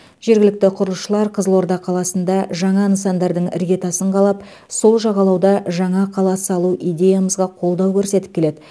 жергілікті құрылысшылар қызылорда қаласында жаңа нысандардың іргетасын қалап сол жағалауда жаңа қала салу идеямызға қолдау көрсетіп келеді